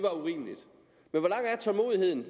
tålmodigheden